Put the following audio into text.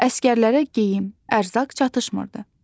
Əsgərlərə geyim, ərzaq çatışmırdı.